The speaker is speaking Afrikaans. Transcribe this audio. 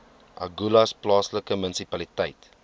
agulhas plaaslike munisipaliteit